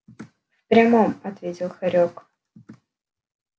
в прямом ответил хорёк